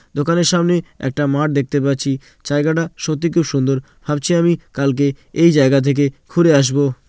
দোকানের সামনে একটা মাঠ দেখতে পাচ্ছি | জায়গাটা সত্যি খুব সুন্দর | ভাবছি আমি কালকে এই জায়গা থেকে ঘুরে আসবো।